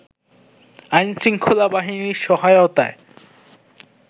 আইনশৃঙ্খলা বাহিনীর সহায়তায়